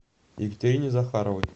екатерине захаровой